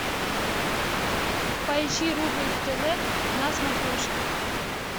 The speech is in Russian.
поищи рубль тв на смотрешке